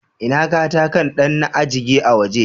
Ina katakan dan na ajege a waje.